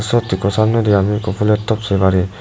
sot ekku samnay di ami phulo top say parir.